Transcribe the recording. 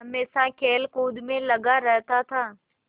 हमेशा खेलकूद में लगा रहता था